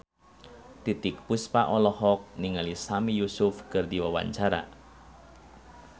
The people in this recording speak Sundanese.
Titiek Puspa olohok ningali Sami Yusuf keur diwawancara